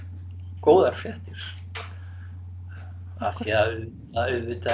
góðar fréttir af því að auðvitað